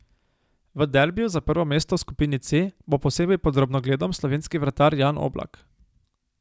V derbiju za prvo mesto v skupini C bo posebej pod drobnogledom slovenski vratar Jan Oblak.